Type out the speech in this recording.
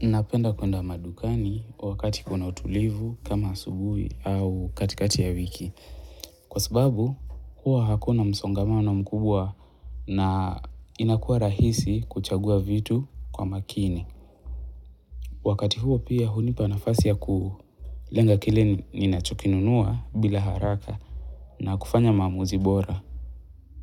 Napenda kwenda madukani wakati kuna utulivu kama subuhi au katikati ya wiki. Kwa sababu huwa hakuna msongamano mkubwa na inakua rahisi kuchagua vitu kwa makini. Wakati huo pia hunipa nafasi ya kulenga kile ninachokinunua bila haraka na kufanya mamuzi bora.